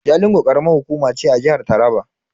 Jalingo karamar hukuma ce a jihar Taraba.